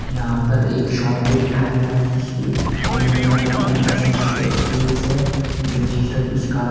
यहां पर एक शॉप को दिखाया गया है जिसके ओनर का नाम है एम_एस है जो सर्विस कार्ड --